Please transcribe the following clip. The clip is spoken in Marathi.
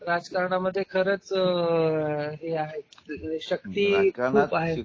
राजकारणा मध्ये खरेच आहे शक्ती चांगल्या